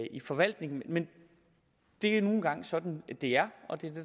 i forvaltningen men det er nu engang sådan det er og det